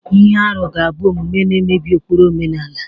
Ihe arụ ga-abụ omume na-emebi ụkpụrụ omenala.